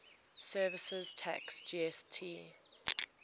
services tax gst